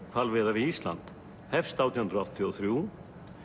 hvalveiða við Ísland hefst átján hundruð áttatíu og þrjú